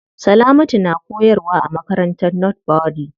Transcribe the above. Salamatu na koyarwa a makarantar northbury.